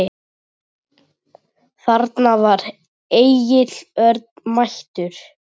Þarna var Egill Örn mættur.